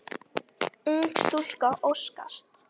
Ung stúlka óskast.